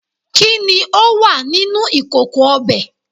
kini o wa mini ikoko obe